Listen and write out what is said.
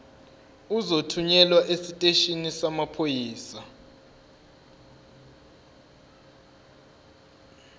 uzothunyelwa esiteshini samaphoyisa